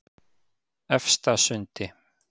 Efstasundi